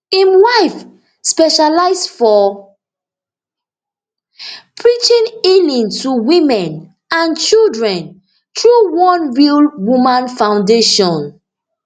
im wife specialise for preaching healing to women and children through one real woman foundation